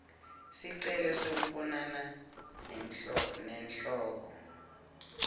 sicelo sekubonana nenhloko